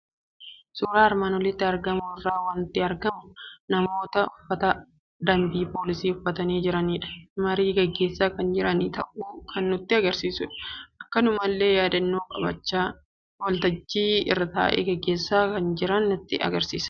Suuraa armaan olitti argamu irraa waanti argamu; namoota uffata dambii Poolisii uffatani jiranifi marii gaggeessaa kan jiran ta'uu kan nutti agarsiisudha. Akkanumallee yaadannoo qabachaa waltajjii ta'e gaggeessaa kan jiran ta'uu kan nutti mul'isudha.